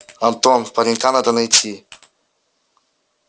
антон паренька надо найти